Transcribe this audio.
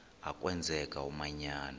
a kwenzeka umanyano